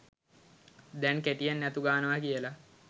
දැන් කෙටියෙන් යතු ගානවා කියල